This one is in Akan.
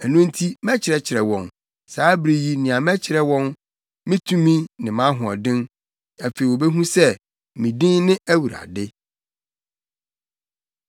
“Ɛno nti mɛkyerɛkyerɛ wɔn, saa bere yi nea mɛkyerɛ wɔn, me tumi ne mʼahoɔden. Afei wobehu sɛ me din ne Awurade.